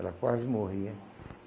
Ela quase morria.